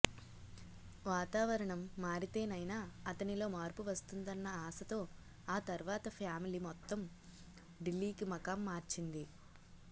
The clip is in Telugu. వాతావరణం మారితేనైనా అతనిలో మార్పు వస్తుందన్న ఆశతో ఆ తర్వాత ఫ్యామిలీ మొత్తం ఢిల్లీకి మకాం మార్చింది